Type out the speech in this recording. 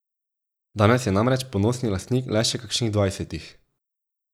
Danes je namreč ponosni lastnik le še kakšnih dvajsetih.